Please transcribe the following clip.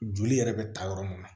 Joli yɛrɛ bɛ ta yɔrɔ mun na